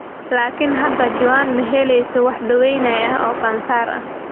Laakiin hadda Joan ma helayso wax daaweyn ah oo kansar ah.